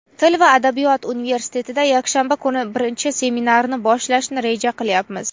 Til va adabiyot universitetida Yakshanba kuni birinchi seminarni boshlashni reja qilyapmiz.